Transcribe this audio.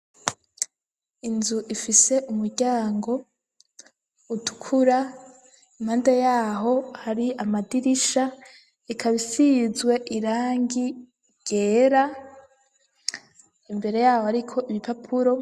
Inzu, ifise umuryango utukura, impande y'aho hari amadirisha, ikaba isizwe irangi ryera; imbere y'aho hariko ibipapuro.